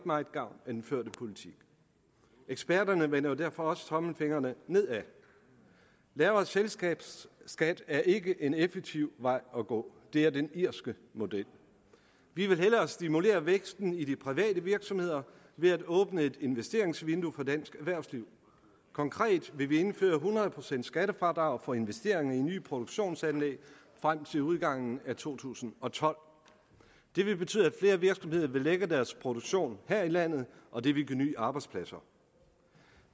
meget gavn af den førte politik eksperterne vender jo derfor også tommelfingrene nedad lavere selskabsskat er ikke en effektiv vej at gå det er den irske model vi vil hellere stimulere væksten i de private virksomheder ved at åbne et investeringsvindue for dansk erhvervsliv konkret vil vi indføre hundrede procents skattefradrag for investeringer i nye produktionsanlæg frem til udgangen af to tusind og tolv det vil betyde at flere virksomheder vil lægge deres produktion her i landet og det vil give nye arbejdspladser